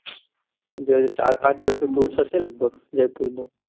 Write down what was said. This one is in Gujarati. જય ચાર પાંચ દિવસ નો tour થશે જયપુર નો